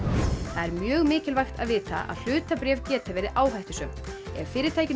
það er mjög mikilvægt að vita að hlutabréf geta verið áhættusöm ef fyrirtækinu